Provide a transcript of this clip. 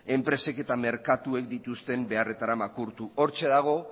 enpresek eta merkatuek dituzten beharretara makurtu hortxe dago